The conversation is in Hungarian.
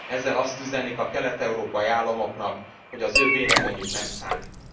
Ezzel azt üzenik a kelet európai államoknak, hogy az ő véleményük nem számít.